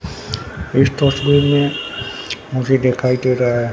इस तस्वीर में मुझे दिखाई दे रहा है।